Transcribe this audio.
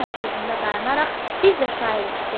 O yenə sözündə dayanaraq: "Biz də şairik" dedi.